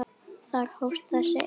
Þar hófst þessi eymd.